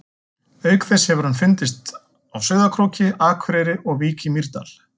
Auk þess hefur hann fundist Sauðárkróki, Akureyri og í Vík í Mýrdal.